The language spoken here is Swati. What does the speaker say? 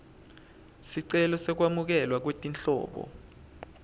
sicelo sekwamukelwa kwetinhlobo